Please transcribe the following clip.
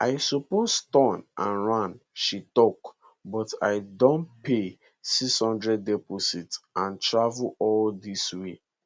i suppose turn and ran she tok but i don pay 600 deposit and travel all dis way